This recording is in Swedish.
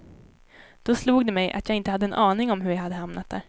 Då slog det mig att jag inte hade en aning om hur jag hade hamnat där.